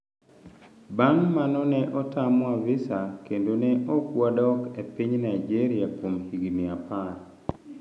"Bang' mano ne otamwa visa kendo ne ok wadok e piny Nigeria kuom higni apar".